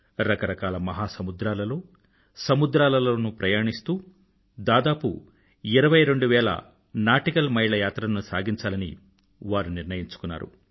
రకరకాల మహాసముద్రాలలో సముద్రాలలోనూ ప్రయాణిస్తూ దాదాపు ఇరవై రెండు వేల సముద్రపునాటికల్ మైళ్ళ యాత్రను సాగించాలని వారు నిర్ణయించుకున్నారు